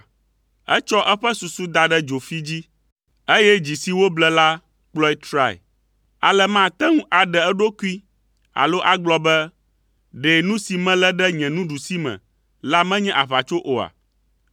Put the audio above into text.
Etsɔ eƒe susu da ɖe dzofi dzi, eye dzi si woble la kplɔe trae, ale mate ŋu aɖe eɖokui alo agblɔ be, “Ɖe nu si melé ɖe nye nuɖusime la menye aʋatso oa?”